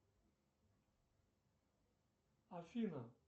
афина